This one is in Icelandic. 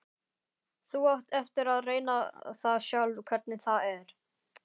Þú átt eftir að reyna það sjálf hvernig það er.